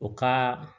U ka